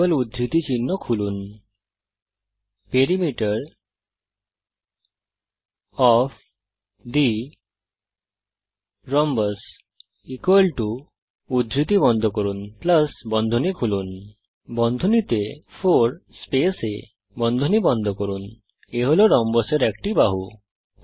যুগল উদ্ধৃতি চিহ্ন খুলুন পেরিমিটার ওএফ থে রোম্বাস লিখুন যুগল উদ্ধৃতি চিহ্ন বন্ধ করুন বন্ধনী খুলুন 4 স্পেস a বন্ধনী বন্ধ করুন a হল রম্বসের একটি বাহু